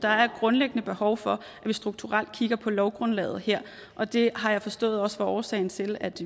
der er grundlæggende behov for at vi strukturelt kigger på lovgrundlaget her og det har jeg forstået også var årsagen til at